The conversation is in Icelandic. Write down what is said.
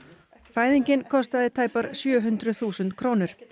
fæðingin kostaði tæpar sjö hundruð þúsund krónur